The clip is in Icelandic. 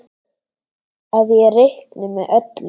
Að ég reikni með öllu.